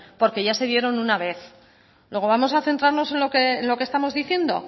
porque ya se dieron una vez luego vamos a centrarnos en lo que estamos diciendo